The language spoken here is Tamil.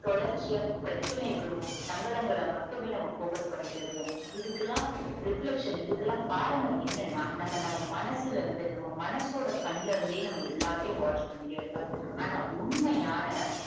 தொடர்ச்சியா பிரச்சனைகளும் சங்கடங்கல மட்டுமே நம்ம focus பண்ணிக்கிட்டே இருக்கோம் இதுகலாம் reflextion இதுகலாம் காரணம் என்னன்னா நம்ம நம்ம மனசுல இருந்து நம்ம மனசோட கன்னுலருந்தே நம்ம எல்லாத்தையும் watch பண்ணிகிட்டே இருப்போம் ஆனா உண்மையான